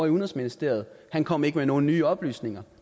i udenrigsministeriet han kom ikke med nogen nye oplysninger